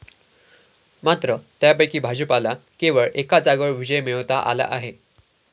मात्र त्यापैकी भाजपला केवळ एका जागेवर विजय मिळवता आला आहे.